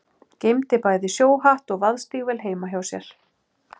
Geymdi bæði sjóhatt og vaðstígvél heima hjá sér.